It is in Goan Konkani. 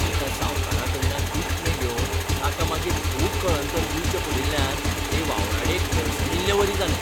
एका सावकाराकडल्यान उश्णें घेवन ताका मागीर खूब कळंतर दिवचें पडील्ल्यान ते वावराडेक गळसणिल्लेवरी जालें.